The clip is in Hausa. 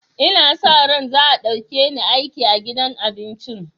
Ina sa ran za a ɗauke ni aiki a gidan abincin